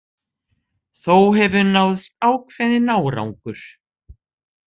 Þó hefur náðst ákveðinn árangur